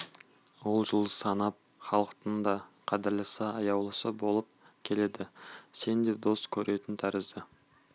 ол жыл санап халықтың да қадірлісі аяулысы болып келеді сен де дос көретін тәрізді